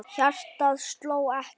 Hjartað sló ekki.